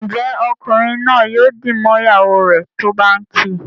Njé Ọkunrin naa yóò dì mọ ìyàwó rẹ tó bá ǹ kí?